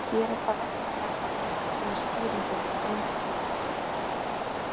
Hér er það væntanlega hefðin sem er skýringin á einhæfninni.